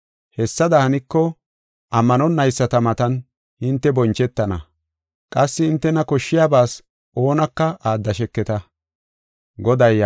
Hessada haniko, ammanonayisata matan hinte bonchetana; qassi hintena koshshiyabas oonaka aaddasheketa.